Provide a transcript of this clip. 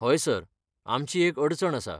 हय, सर, आमची एक अडचण आसा.